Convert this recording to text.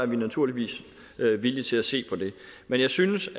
vi naturligvis villige til at se på det men jeg synes